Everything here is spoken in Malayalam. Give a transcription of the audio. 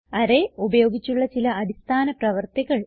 അറേ ഉപയോഗിച്ചുള്ള ചില അടിസ്ഥാന പ്രവർത്തികൾ